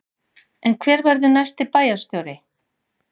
En hver verður næsti bæjarstjóri?